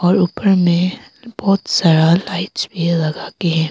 और ऊपर में बहोत सारा लाइट्स भी लगा के है।